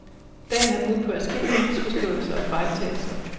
Dagen har budt på adskillige misforståelser og fejltagelser.